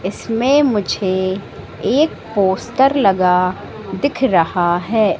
इसमें मुझे एक पोस्टर लगा दिख रहा है।